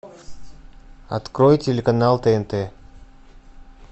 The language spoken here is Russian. открой телеканал тнт